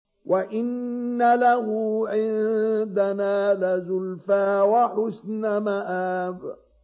وَإِنَّ لَهُ عِندَنَا لَزُلْفَىٰ وَحُسْنَ مَآبٍ